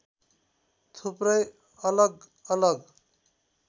थुप्रै अलग अलग